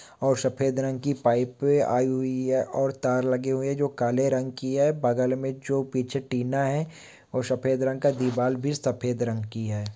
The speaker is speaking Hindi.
और सफेद रंग की पाइप आई हुई है और तार लगे हुए जो काले रंग की है बगल में जो पीछे टीना है और सफेद रंग का दीवार भी सफेद रंग की है।